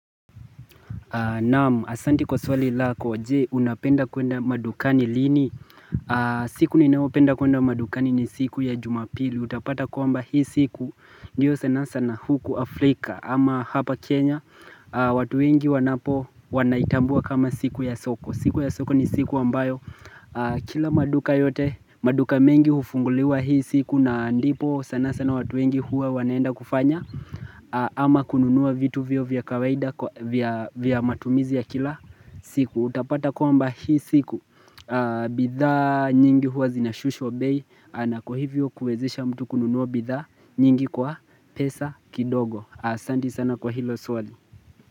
Naam asante kwa swali lako je unapenda kuenda madukani lini siku ninaopenda kuenda madukani ni siku ya jumapili Utapata kwamba hii siku ndio sana sana huku Afrika ama hapa Kenya watu wengi wanapo wanaitambua kama siku ya soko siku ya soko ni siku ambayo kila maduka yote maduka mengi hufunguliwa hii siku na ndipo sana sana watu wengi huwa wanaenda kufanya ama kununua vitu vyao vya kawaida vya matumizi ya kila siku Utapata kwamba hii siku bithaa nyingi huwa zinashushwa bei na kwa hivyo kuezesha mtu kununua bithaa nyingi kwa pesa kidogo Asante sana kwa hilo swali.